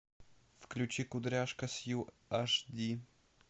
включи кудряшка сью аш ди